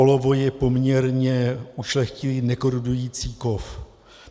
Olovo je poměrně ušlechtilý, nekorodující kov.